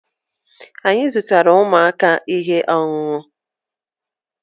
anyị zụtara ụmụaka ihe ọṅụṅụ dị nro